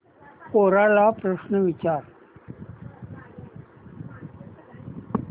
कोरा ला प्रश्न विचार